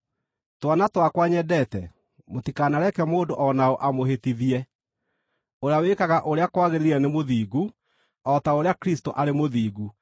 Twana twakwa nyendete, mũtikanareke mũndũ o na ũ amũhĩtithie. Ũrĩa wĩkaga ũrĩa kwagĩrĩire nĩ mũthingu, o ta ũrĩa Kristũ arĩ mũthingu.